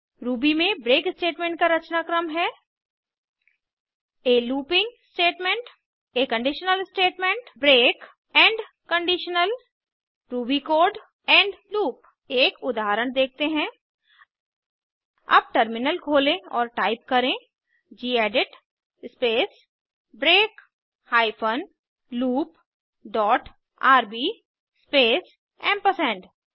Ruby में break statement का रचनाक्रम है आ लूपिंग स्टेटमेंट आ conditional statement break end conditional Ruby code end loop एक उदाहरण देखते हैं अब टर्मिनल खोलें और टाइप करें gedit space break hyphen loop dot RB space ampersand